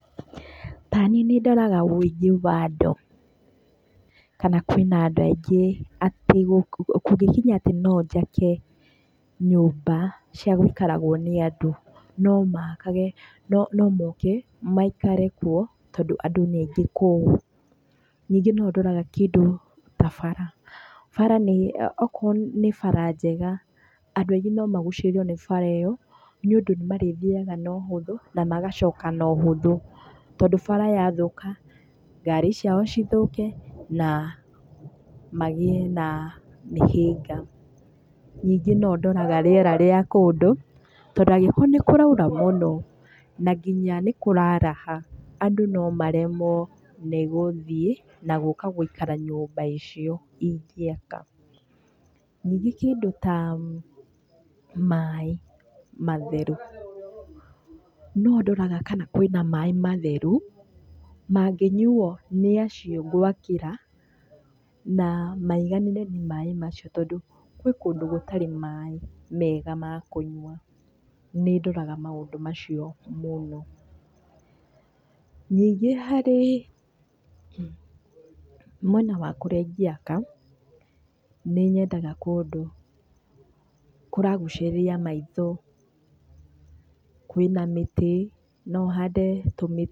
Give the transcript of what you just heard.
Ta niĩ nĩ ndoraga ũingĩ wa andũ kana kwĩna andũ aingĩ atĩ kũngĩkinya atĩ no njake nyũmba cia gũikaragwo nĩ andũ no moke maikare kuo tondũ andũ nĩ aingĩ kũu. Ningĩ no ndoraga kĩndũ ta bara, okorwo ni bara njega andũ aingĩ no magucĩrĩrio nĩ bara ĩyo nĩũndũ nĩ marĩthiaga na ũhũthũ na magacoka na ũhũthũ. Tondũ bara yathũka ngari ciao cithũke na magĩe na mĩhĩnga. Ningĩ no ndoraga rĩera rĩa kũndũ tondũ angĩkorwo nĩ kũroira mũno na ginya nĩ kũraraha, andũ no maremwo nĩ gũthiĩ na gũka gũikara nyũmba icio ingĩaka. Ningĩ kĩndũ ta maĩ matheru no ndoraga kana kwĩna maĩ matheru mangĩnyuo nĩ acio ngwakĩra na maiganĩre nĩ maĩ macio tondũ gwĩ kũndũ gũtarĩ maĩ mega ma kũnyua. Nĩ ndoraga maũndũ macio mũno. Ningĩ harĩ mwena wa kũrĩa ingĩaka nĩ nyendaga kũndũ kũragucĩrĩria maitho, kwĩna mĩtĩ, no hande tũmĩtĩ...